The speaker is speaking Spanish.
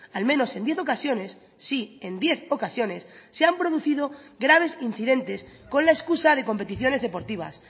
al menos en diez ocasiones sí en diez ocasiones se han producido graves incidentes con la excusa de competiciones deportivas